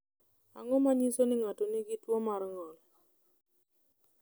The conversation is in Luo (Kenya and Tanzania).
Ang’o ma nyiso ni ng’ato nigi tuwo mar ng’ol?